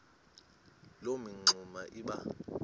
loo mingxuma iba